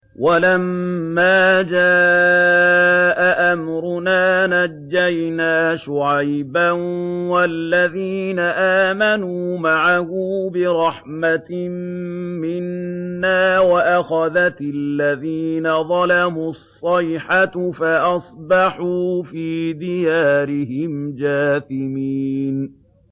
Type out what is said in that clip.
وَلَمَّا جَاءَ أَمْرُنَا نَجَّيْنَا شُعَيْبًا وَالَّذِينَ آمَنُوا مَعَهُ بِرَحْمَةٍ مِّنَّا وَأَخَذَتِ الَّذِينَ ظَلَمُوا الصَّيْحَةُ فَأَصْبَحُوا فِي دِيَارِهِمْ جَاثِمِينَ